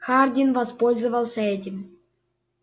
хардин воспользовался этим